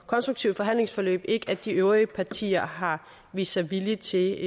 konstruktivt forhandlingsforløb ikke at de øvrige partier har vist sig villige til